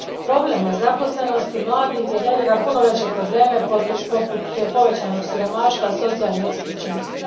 Problem nezaposlenosti mladih generira puno veće probleme poput povećanog siromaštva i socijalne isključenosti.